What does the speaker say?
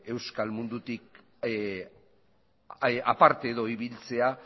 euskal mundutik edo aparte ibiltzea